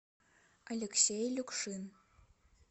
алексей люкшин